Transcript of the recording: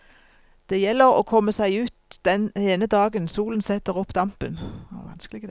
Det gjelder å komme seg ut den ene dagen solen setter opp dampen.